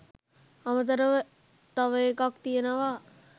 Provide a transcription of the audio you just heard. අමතරව තව එකක් තියෙනවා